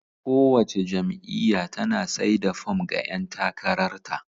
Kowace jam'iyya tana sai da fom ga ƴan takarar ta.